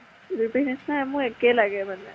যুৰি পেহী নিছিনা মোৰ একে লাগে মানে।